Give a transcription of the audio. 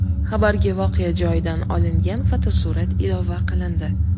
Xabarga voqea joyidan olingan fotosurat ilova qilindi.